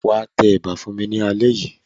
Wà á tẹ ẹ̀bà fún mi alẹ́.